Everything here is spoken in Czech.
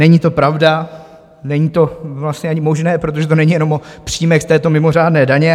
Není to pravda, není to vlastně ani možné, protože to není jenom o příjmech z této mimořádné daně.